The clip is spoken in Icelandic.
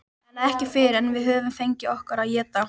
En ekki fyrr en við höfum fengið okkur að éta.